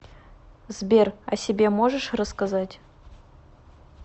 сбер о себе можешь рассказать